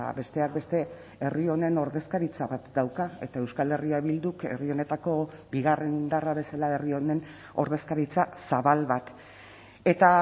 besteak beste herri honen ordezkaritza bat dauka eta euskal herria bilduk herri honetako bigarren indarra bezala herri honen ordezkaritza zabal bat eta